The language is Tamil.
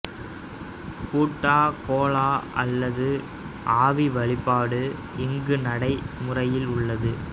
பூட்டா கோலா அல்லது ஆவி வழிபாடு இங்கு நடைமுறையில் உள்ளது